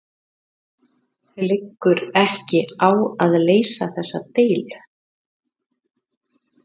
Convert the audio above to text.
Liggur ekki á að leysa þessa deilu?